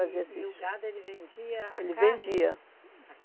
Fazia esses... E o gado vendia a carne? Ele vendia. A